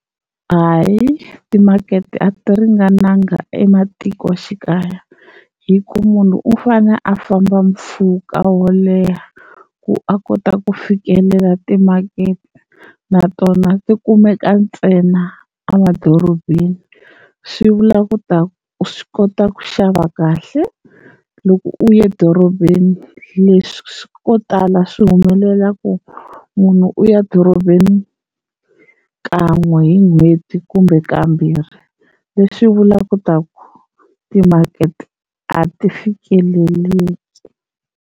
Hayi timakete a ti ringananga ematikoxikaya hi ku munhu u fane a famba mpfhuka wo leha ku a kota ku fikelela timakete natona ti kumeka ntsena emadorobeni, swi vula ku ta swi kota ku xava kahle loko u ya dorobeni leswi swi ko tala swi humelela ku munhu u ya dorobeni kan'we hi n'hweti kumbe kambirhi leswi vulaka ku ta ku timakete a ti fikeleleki.